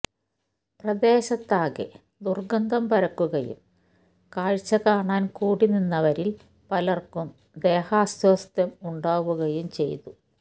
പ്രദേശത്താകെ ദുര്ഗ്ഗന്ധം പരക്കുകയും കാഴ്ച്ചകാണാന് കൂടി നിന്നവരില് പലര്ക്കും ദേഹാസ്വാസ്ഥ്യം ഉണ്ടാവുകയും ചെയ്തു